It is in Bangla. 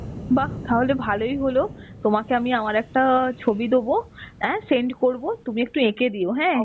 বাহ্. তাহলে ভালই হলো. তোমাকে আমি আমার একটা ছবি দেবো, আ send করবো তুমি একটু এঁকে দিও হ্যাঁ.